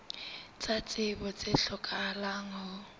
tsa tsebo tse hlokahalang ho